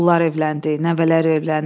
Oğullar evləndi, nəvələr evləndi.